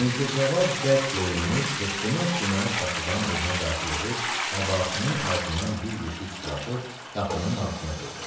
Mirzəcavad bərk yorulmuş, hıqqına-hıqqına qapıdan evinə daxil olub, əbasının altından bir yeşik çıxarıb qapının ağzına qoydu.